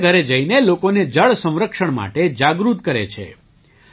તેઓ ઘરેઘરે જઈને લોકોને જળ સંરક્ષણ માટે જાગૃત કરે છે